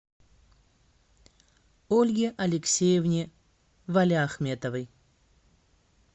ольге алексеевне валиахметовой